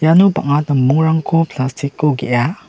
iano bang·a dambongrangko plastic-o ge·a.